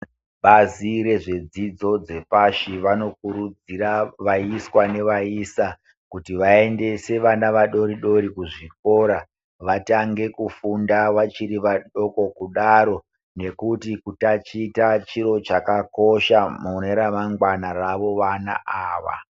Bazi rezvedzidzo dzepashi vanokurudzirwa vaisa nevaiswa vaendese vana vadodori kuzvikora vatange kufunda vachiri vadoko kudaro nekuti kutaticha chiro chakakosha mune ramangwana ravo vana ava.